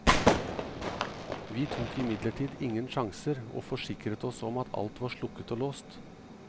Vi tok imidlertid ingen sjanser, og forsikret oss om at alt var slukket og låst.